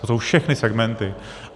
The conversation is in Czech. To jsou všechny segmenty.